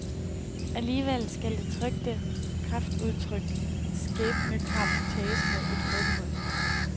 Alligevel skal det trykte kraftudtryk skæbnekamp tages med et forbehold.